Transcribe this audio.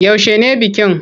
Yaushe ne bikin?